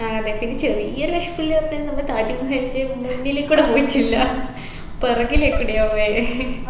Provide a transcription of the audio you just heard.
ആ അതെ പിന്നെ ചെറിയൊരു വിശമില്ലാത്തെന്ന് നമ്മള് താജ്മഹലിന്റെ മുന്നിലെകൂടെ പോയിട്ടില്ല പുറകിലേകൂടെയാ പോയെ